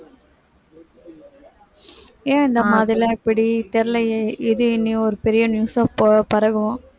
ஏன் இந்தமாதிரிலாம் எப்படி தெரியலயே இது இனி ஒரு பெரிய news ஆ ப~ பரவும்